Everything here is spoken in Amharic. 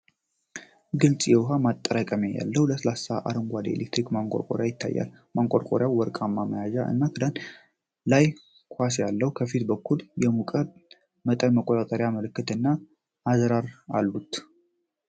ግልጽ የውሃ ማጠራቀሚያ ያለው ለስላሳ አረንጓዴ የኤሌክትሪክ ማንቆርቆሪያ ይታያል። ማንቆርቆሪያው ወርቃማ መያዣ እና ክዳን ላይ ኳስ አለው። ከፊት በኩል የሙቀት መጠን መቆጣጠሪያ ምልክቶች እና አዝራር አሉት።